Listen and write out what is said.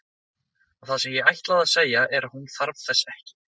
Og það sem ég ætlaði að segja er að þú þarft þess ekki.